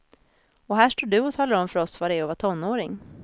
Och här står du och talar om för oss vad det är att vara tonåring.